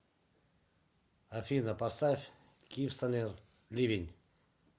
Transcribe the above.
афина поставь киевстонер ливень